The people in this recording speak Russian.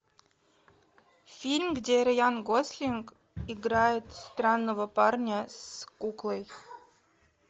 фильм где райан гослинг играет странного парня с куклой